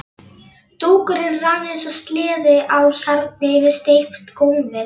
Dúkurinn rann eins og sleði á hjarni yfir steypt gólfið.